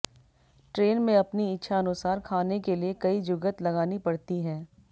train में अपनी इच्छानुसार खाने के लिए कई जुगत लगानी पड़ती हैं